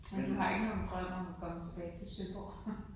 Men du har ikke nogen drøm om at komme tilbage til Søborg?